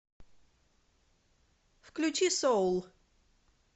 включи соул